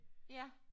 Ja